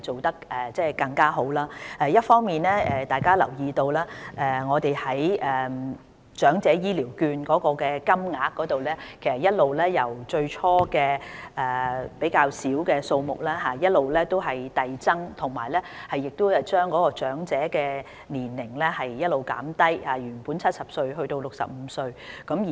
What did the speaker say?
大家諒必有留意，我們一方面把長者醫療券的金額由最初較少的數目遞增，另一方面，我們亦降低符合申領資格的長者年齡，由原本的70歲降低至65歲。